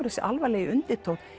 þessi alvarlegi undirtónn